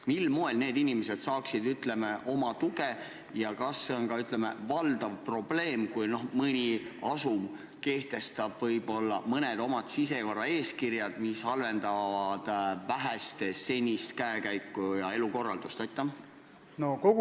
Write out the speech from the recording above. Mil moel need inimesed saaksid tuge ja kas see on valdav probleem, et mõni asum kehtestab omad sisekorraeeskirjad, mis halvendavad väheste käekäiku ja elukorraldust?